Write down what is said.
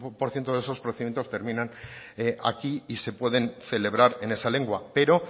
por ciento de esos procedimientos terminan aquí y se pueden celebrar en esa lengua pero